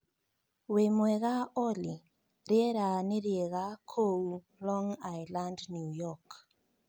wimwega Olly rĩera nĩ rĩega kũu Long Island New York